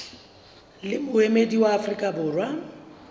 le moemedi wa afrika borwa